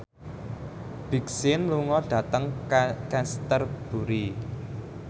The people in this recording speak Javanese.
Big Sean lunga dhateng Canterbury